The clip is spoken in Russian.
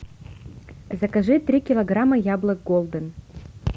закажи три килограмма яблок голден